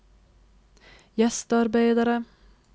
gjestearbeidere